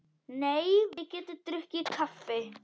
Nei, við getum drukkið kaffi.